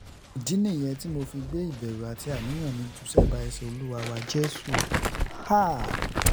ìdí nìyẹn tí mo fi gbé ìbẹ̀rù àti àníyàn mi jù sẹ́bàá ẹsẹ olúwa wa jésù